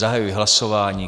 Zahajuji hlasování.